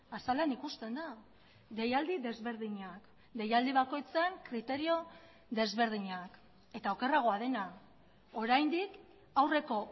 azalean ikusten da deialdi desberdinak deialdi bakoitzak irizpide desberdinak eta okerragoa dena oraindik aurreko